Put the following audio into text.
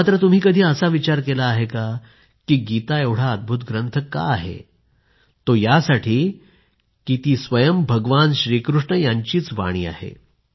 मात्र तुम्ही कधी असा विचार केला आहे का गीता एवढा अद्भुत ग्रंथ का आहे ते यासाठी कारण ती स्वयं भगवान श्रीकृष्ण यांचीच वाणी आहे